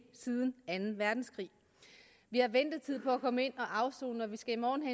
siden anden verdenskrig vi har ventetid på at komme ind at afsone og vi skal i morgen